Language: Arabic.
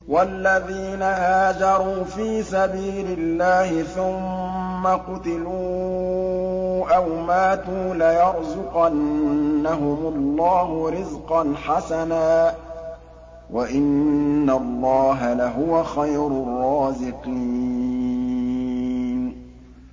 وَالَّذِينَ هَاجَرُوا فِي سَبِيلِ اللَّهِ ثُمَّ قُتِلُوا أَوْ مَاتُوا لَيَرْزُقَنَّهُمُ اللَّهُ رِزْقًا حَسَنًا ۚ وَإِنَّ اللَّهَ لَهُوَ خَيْرُ الرَّازِقِينَ